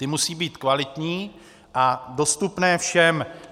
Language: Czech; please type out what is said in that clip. Ty musí být kvalitní a dostupné všem.